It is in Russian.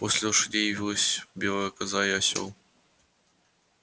после лошадей явилась белая коза и осёл